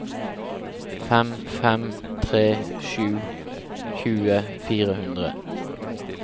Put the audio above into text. fem fem tre sju tjue fire hundre